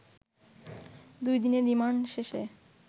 দুই দিনের রিমান্ড শেষে